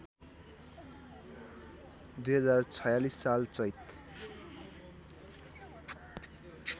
२०४६ साल चैत